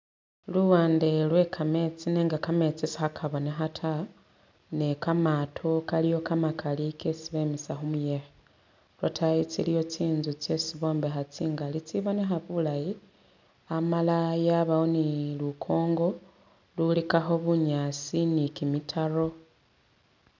Luwande lwe kametsi nenga kametsi sikhakabonekha ta ne kamato kaliwo kamakali kesi bemisa khumuyekhe, lwatayi tsiliyo tsi'nzu tsesi bombekha tsingali tsibonekha bulayi amala yabawo ni lukongo lulikakho bunyaasi ni kimitaro